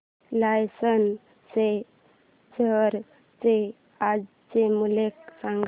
Larsen च्या share चे आजचे मूल्य सांगा